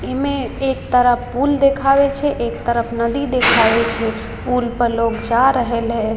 इमे एक तरफ पुल देखावे छै एक तरफ नदी देखावे छै पुल पर लोग जा रहल ये --